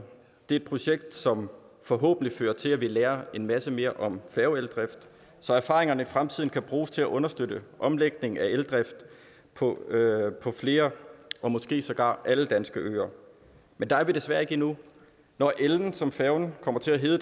et projekt som forhåbentlig fører til at vi lærer en masse mere om elfærgedrift så erfaringerne i fremtiden kan bruges til at understøtte omlægningen af eldrift på flere og måske sågar alle danske øer men der er vi desværre ikke endnu når ellen som færgen kommer til at hedde